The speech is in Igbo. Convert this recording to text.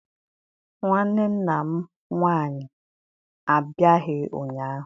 Nwanne nna m nwaanyị abịaghị ụnyaahụ.